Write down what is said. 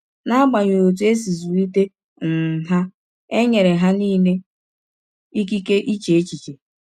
N’agbanyeghị ọtụ e si zụlite um ha, e nyere ha nile ịkịke iche echiche.